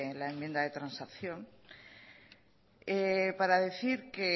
la enmienda de transacción para decir que